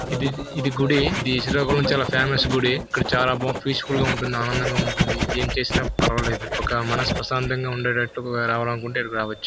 ఇది ఇది గుడి శ్రీకాకుళం చాలా ఫేమస్ గుడి చాలా బాగా పీస్ ఫుల్ గా ఆనందంగా ఉంటుంది. ఏం చేసినా పర్వాలేదు. ఒక మనసు ప్రశాంతంగా ఉండేటట్టు రావాలనుకుంటే ఇడికి రావచ్చు.